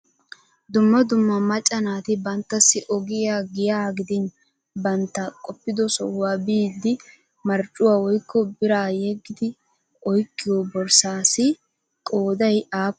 Dumma dumma macca naati bantassi ogiy, giyaa gidin bantta qoppido sohuwa biiddi marccuwa woykko biraa yeggidi oyqqiyo borssaassi qooday aappunee?